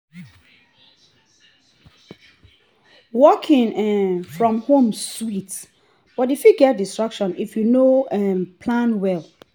working um from home sweet but e fit get distraction if you no um plan well.